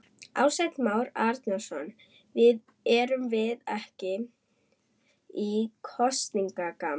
Ársæll Már Arnarson: Erum við ekki í kosningaham?